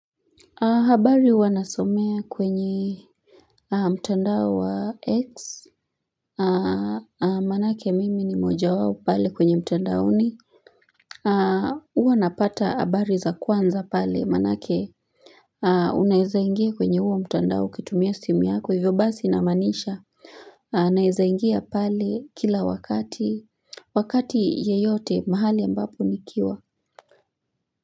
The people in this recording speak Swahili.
Habari huwa nasomea kwenye mtandao wa X, manake mimi ni mmoja wawu pale kwenye mtandaoni. Uwa napata habari za kwanza pale, manake unaeza ingia kwenye uwa mtandao ukitumia simu yako, hivyo basi naamanisha. Anaeza ingia pale kila wakati, wakati yeyote mahali ambapo nikiwa.